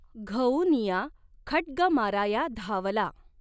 घऊनिया खड्ग माराया धांवला।